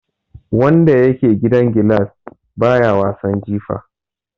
Wanda yake gidan gilas baya wasan jifa.